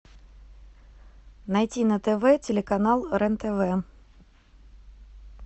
найти на тв телеканал рен тв